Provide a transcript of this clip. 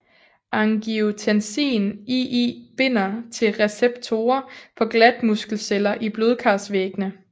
Angiotensin II binder til receptorer på glatmuskelceller i blodkarsvæggene